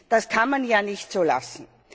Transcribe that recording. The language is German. Das kann man ja nicht so lassen.